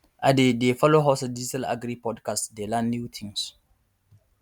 i dey dey follow hausa digital agri podcast dey learn new tins